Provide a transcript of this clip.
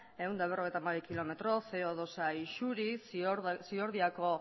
ehun eta berrogeita hamabi kilometro ce o bi isuriz ziordiako